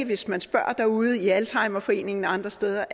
hvis man spørger derude i alzheimerforeningen og andre steder